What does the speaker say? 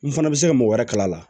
N fana bɛ se ka mɔgɔ wɛrɛ kala la